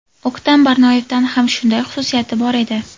O‘ktam Barnoyevda ham shunday xususiyat bor edi.